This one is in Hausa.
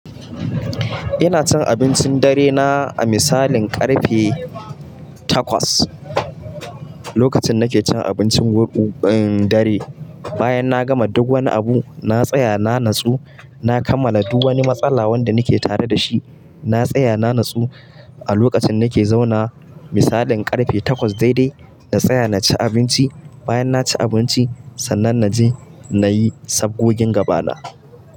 Ina cin abincin dare na a misalin ƙarfe takwas. Lokacin da nake cin abincin dare, bayan na gama duk wani abu, na tsaya na natsu, na kammala duk wani matsala wanda nake tare da shi. Na tsaya na natsu a lokacin nake zauna misalin ƙarfe takwas daidai, na tsaya na ci abinci. Bayan na ci abinci, sannan na je na yi sabgogin gaba na.